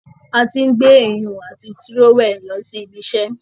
A tí n gbé iyùn ati Tírówẹ̀ lọ sí ibiṣẹ́